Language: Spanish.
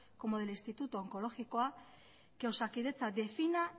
como del instituto onkologikoa que osakidetza defina